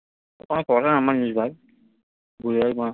কটা number নিস ভাই?